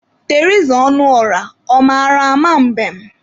Teriza Ọnụọrah, ọ mara ama mbem?